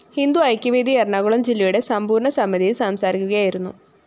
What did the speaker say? ഹിന്ദു ഐക്യവേദി എറണാകുളം ജില്ലയുടെ സമ്പൂര്‍ണ സമിതിയില്‍ സംസാരിക്കുകയായിരുന്നു